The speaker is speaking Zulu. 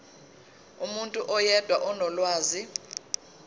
umuntu oyedwa onolwazi